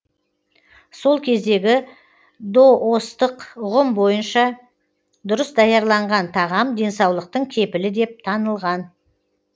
сол кездегі доостық ұғым бойынша дұрыс даярланған тағам денсаулықтың кепілі деп танылған